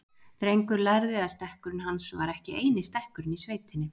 Drengur lærði að stekkurinn hans var ekki eini stekkurinn í sveitinni.